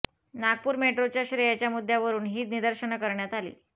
नागपूर मेट्रोच्या श्रेयाच्या मुद्द्यावरून ही निदर्शनं करण्यात आली